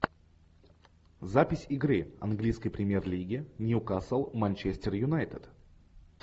запись игры английской премьер лиги ньюкасл манчестер юнайтед